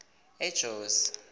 ejozi